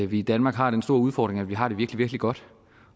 vi i danmark har den store udfordring at vi har det virkelig virkelig godt